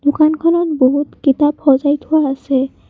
দোকানখনত বহুত কিতাপ সজাই থোৱা আছে।